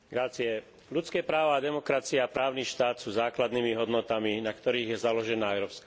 Ľudské práva, demokracia a právny štát sú základnými hodnotami, na ktorých je založená Európska únia.